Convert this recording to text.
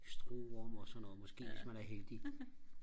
stroh rom og sådan noget måske hvis man er heldig